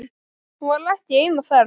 Hún var ekki ein á ferð.